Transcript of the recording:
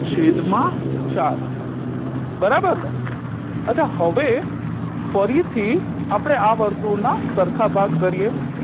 છેદ માં ચાર બરાબરને અછાં હવે ફરીથી આપણે આ વર્તુળના સરખા ભાગ કરીએ